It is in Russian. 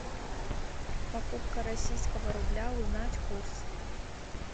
покупка российского рубля узнать курс